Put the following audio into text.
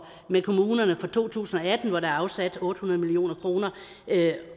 med kommunerne for to tusind og atten hvor der er afsat otte hundrede million kr